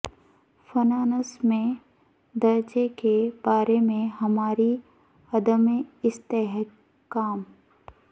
finance میں درجے کے بارے میں ہماری عدم استحکام